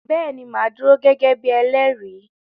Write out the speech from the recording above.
Bẹ́ẹ̀ ni màá dúró gẹ́gẹ́ bí elẹ́rìí.